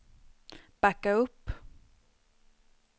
backa upp